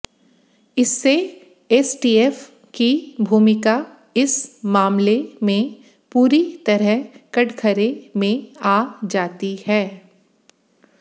इससे एसटीएफ की भूमिका इस मामले में पूरी तरह कटघरे में आ जाती है